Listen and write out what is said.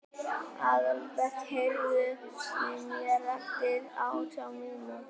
Aðalbert, heyrðu í mér eftir átján mínútur.